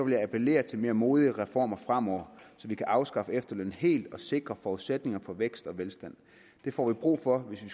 jeg appellere til mere modige reformer fremover så vi kan afskaffe efterlønnen helt og sikre forudsætninger for vækst og velstand det får vi brug for hvis vi